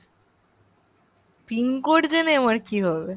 PIN code জেনে আমার কি হবে ?